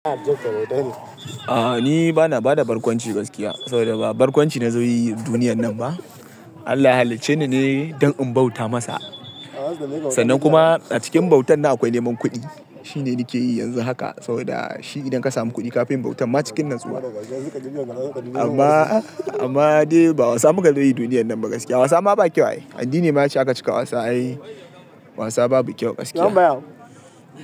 A'a ni bana bada barkwanci gaskiya, saboda ba barkwanci na zo yi duniyan nan ba. Allah ya halicce ni ne don in bauta masa. Sannan kuma a cikin bautan nan akwai neman kuɗi. Shi ne nake yi yanzu haka saboda shi idan ka samu kuɗi kafi yin bautan ma cikin natsuwa. Amma--amma dai ba wasa muka zo yi duniyan nan ba gaskiya. Wasa ma ba kyau ai. Addini ma ya ce in aka cika wasa ai wasa babu kyau gaskiya.